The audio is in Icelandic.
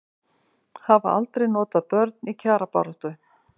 Hafa aldrei notað börn í kjarabaráttu